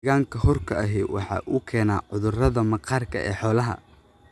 Deegaanka huurka ahi waxa uu keenaa cudurrada maqaarka ee xoolaha.